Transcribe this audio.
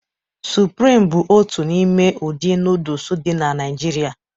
Sụprịm bụ otu n'ime ụdị nooduls dị na Naijiria